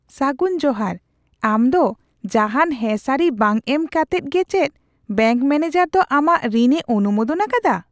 ᱥᱟᱹᱜᱩᱱ ᱡᱚᱦᱟᱨ ! ᱟᱢ ᱫᱚ ᱡᱟᱦᱟᱱ ᱦᱮᱸ ᱥᱟᱹᱨᱤ ᱵᱟᱝ ᱮᱢ ᱠᱟᱛᱮᱫ ᱜᱤ ᱪᱮᱫ ᱵᱮᱝᱠ ᱢᱮᱱᱮᱡᱟᱨ ᱫᱚ ᱟᱢᱟᱜ ᱨᱤᱱᱼᱮ ᱚᱱᱩᱢᱳᱫᱚᱱ ᱟᱠᱟᱫᱟ ?